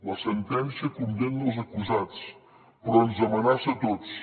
la sentència condemna els acusats però ens amenaça a tots